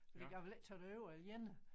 Fordi jeg ville ikke tage derover alene